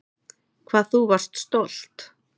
Hvað þú varst stolt.